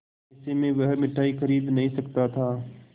ऐसे में वह मिठाई खरीद नहीं सकता था